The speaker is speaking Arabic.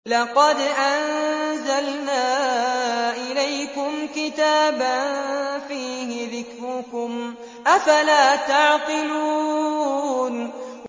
لَقَدْ أَنزَلْنَا إِلَيْكُمْ كِتَابًا فِيهِ ذِكْرُكُمْ ۖ أَفَلَا تَعْقِلُونَ